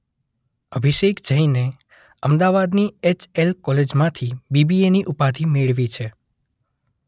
અભિષેક જૈને અમદાવાદની એચ_શબ્દ એલ_શબ્દ કોલેજમાંથી બી_શબ્દ બી_શબ્દ એ_શબ્દ ની ઉપાધી મેળવી છે.